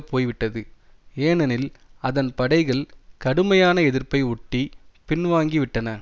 போய்விட்டது ஏனெனில் அதன் படைகள் கடுமையான எதிர்ப்பை ஒட்டி பின்வாங்கிவிட்டன